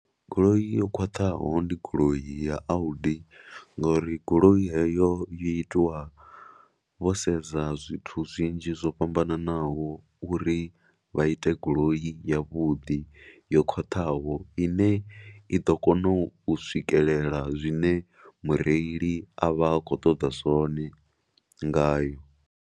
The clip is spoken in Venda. Goloi yo khwaṱhaho ndi goloi ya Audi ngauri goloi heyo yo itiwa vho sedza zwithu zwinzhi zwo fhambanaho uri vha ite goloi yavhuḓi yo khwaṱhaho i ne i ḓo kona u swikelela zwine mureili a vha a khou ṱoḓa zwone ngayo.